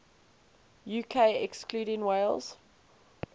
uk excluding wales